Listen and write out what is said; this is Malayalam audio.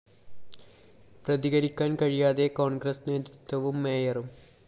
പ്രതികരിക്കാന്‍ കഴിയാതെ കോണ്‍ഗ്രസ് നേതൃത്വവും മേയറും